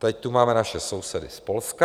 Teď tu máme naše sousedy z Polska.